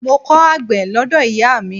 Mo kọ́ àgbẹ̀ lọ́dọ̀ ìyáà mi.